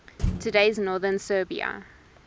today's northern serbia